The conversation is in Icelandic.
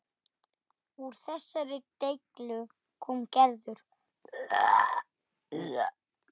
Úr þessari deiglu kom Gerður.